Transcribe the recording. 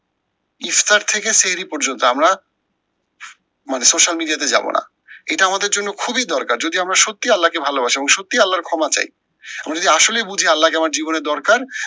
ইফতার থেকে সেহেরি পর্যন্ত আমরা মানে social media তে যাবো না, এটা আমাদের জন্য খুব দরকার যদি আমরা সত্যি আল্লাহকে ভালোবাসি এবং সত্যি আল্লার ক্ষমা চাই। আমরা যদি আসলেই বুঝি আল্লাহকে আমার জীবনে দরকার